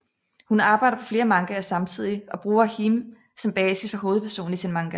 Hun arbejder på flere mangaer samtidig og bruger Hime som basis for hovedpersonen i sin manga